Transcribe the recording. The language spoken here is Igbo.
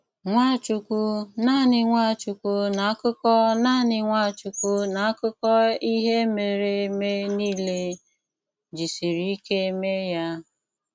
Nwáchúkwú - nánị Nwáchúkwú n’ákụkọ nánị Nwáchúkwú n’ákụkọ íhè mèré èmé nìlé - jísìrí íké méé ya."